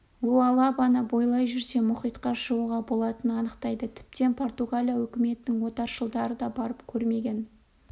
луалабаны бойлай жүрсе мұхитқа шығуға болатынын анықтайды тіптен португалия өкіметінің отаршылдары да барып көрмеген